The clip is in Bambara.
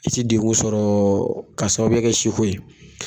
I ti degun sɔrɔ ka sababuya kɛ si ko ye